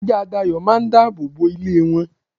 ajá Dayo máà ń dábòbò ilé won.